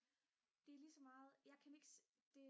det er lige så meget jeg kan ikke det